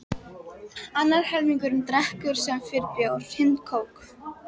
Annar helmingurinn drekkur sem fyrr bjór, hinn kók.